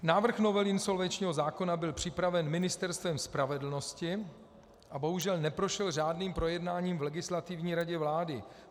Návrh novely insolvenčního zákona byl připraven Ministerstvem spravedlnosti a bohužel neprošel řádným projednáním v Legislativní radě vlády.